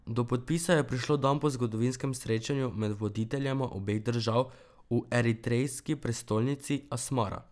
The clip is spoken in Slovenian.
Do podpisa je prišlo dan po zgodovinskem srečanju med voditeljema obeh držav v eritrejski prestolnici Asmara.